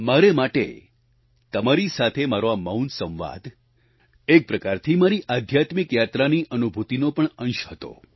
મારા માટે તમારી સાથે મારો આ મૌન સંવાદ એક પ્રકારથી મારી આધ્યાત્મિક યાત્રાની અનુભૂતિનો પણ અંશ હતો